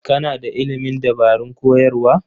Kana da ilimin dabarun koyarwa?